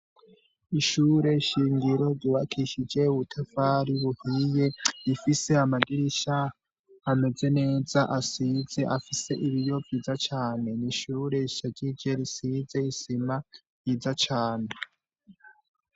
Ishure ryubakishij' amatafar' ahiye rifise n' idirisha rinini cane, ikiyo c' aramenetse gifise n' utwuma dutoduto dushinz' aritwinshi dukingir' iryo dirisha risiz' irangi ryera.